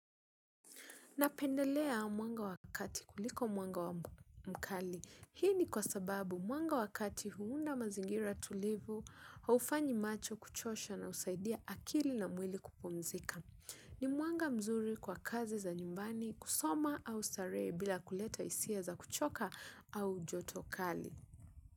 Napendelea mwanga wa kati kuliko mwanga mkali. Hii ni kwa sababu mwanga wa kati huunda mazingira tulivu, haufanyi macho kuchosha na husaidia akili na mwili kupumzika. Ni mwanga mzuri kwa kazi za nyumbani kusoma au starehe bila kuleta hisia za kuchoka au joto kali.